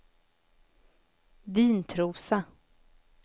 Vintrosa